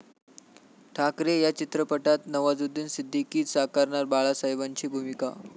ठाकरे' या चित्रपटात नवाजुद्दिन सिद्दिकीच साकारणार बाळासाहेबांची भूमिका!